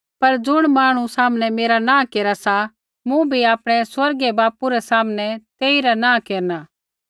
पर ज़ुण मांहणु सामनै मेरा नाँह केरा सा तेइबै मूँ भी आपणै स्वर्गीय बापू रै सामनै तेइरा नाँह केरना